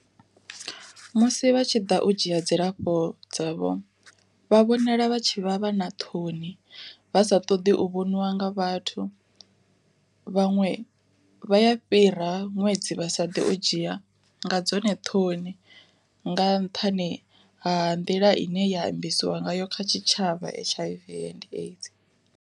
Musi vha tshiḓa u dzhia dzilafho dzavho, vha vhonala vha tshi vha vha na ṱhoni, vha sa ṱoḓi u vhoniwa nga vhathu. Vhaṅwe vha ya fhira ṅwedzi vhasa ḓi u dzhia nga dzone ṱhoni, nga nṱhani ha nḓila ine ya ambesiwa nga yo kha tshitshavha H_I_V and AIDS.